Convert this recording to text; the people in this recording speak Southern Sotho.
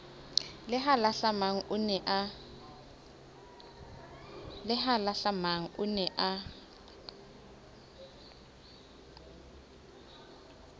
le halahlamang o ne a